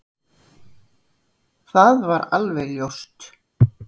Það var alveg ljóst.